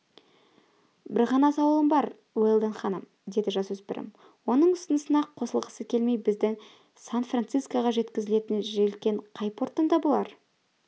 бір ғана сауалым бар уэлдон ханым деді жасөспірім оның ұсынысына қосылғысы келмей бізді сан-францискоға жеткізетін желкен қай порттан табылар